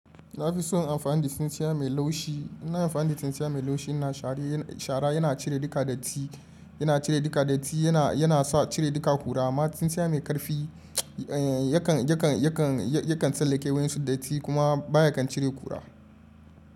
Na fi son amfani da tsintsiya mai laushi. iNa amfani da tsintsiya mai laushi, shara yana cire duka datti, yana cire duka datti, yana sa cire duka ƙura. Amma tsintsiya mai ƙarfi yakan tsallakewar wayansu datti kuma baya kan cire ƙura.